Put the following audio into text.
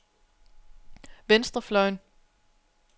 venstrefløjen